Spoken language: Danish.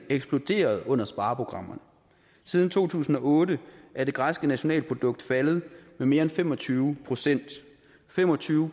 eksploderet under spareprogrammerne siden to tusind og otte er det græske nationalprodukt faldet med mere end fem og tyve procent fem og tyve